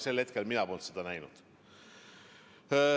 Sel hetkel mina polnud seda näinud.